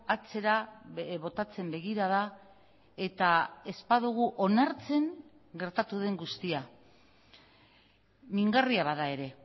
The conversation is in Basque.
atzera botatzen begirada etaez badugu onartzen gertatu den guztia mingarria bada ere